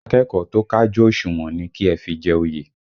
Akẹ́kọ̀ọ́ tó kájú òṣùwọ̀n ni kí ẹ fi jẹ oyè!